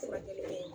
Furakɛli bɛ